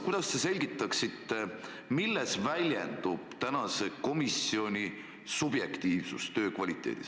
Kuidas te selgitaksite, milles väljendub praeguse komisjoni subjektiivsus?